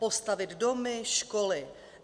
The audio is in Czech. Postavit domy, školy.